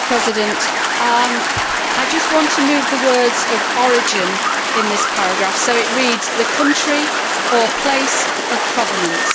Mr President, I just want to move the words of origin' in this paragraph, so it reads the country or place of provenance'.